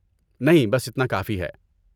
نہیں، بس اتنا کافی ہے۔